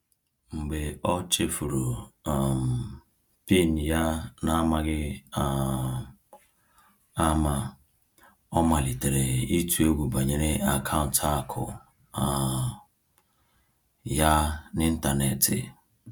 Mgbe ọ chefuru um PIN ya n’amaghị um ama, ọ malitere ịtụ egwu banyere akaụntụ akụ um ya n’ịntanetị.